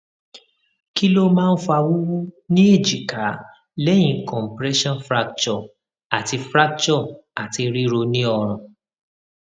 kí ló máa ń fa wuwu ni ejika lẹyìn compression fracture ati fracture ati riro ni orun